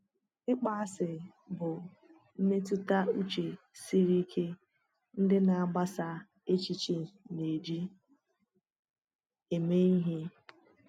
Ịkpọasị bụ mmetụta uche siri ike ndị na-agbasa èchìchè na-eji eme ihe.